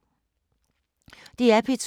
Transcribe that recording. DR P2